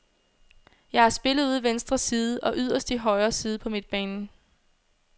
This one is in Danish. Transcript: Jeg har spillet ude i venstre side og yderst i højre side på midtbanen.